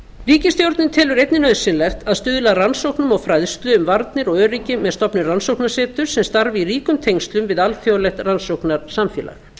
ríkisstjórnin telur einnig nauðsynlegt að stuðla að rannsóknum og fræðslu um varnir og öryggi með stofnun rannsóknarsetur sem starfar í ríkum tengslum við alþjóðlegt rannsóknarsamfélag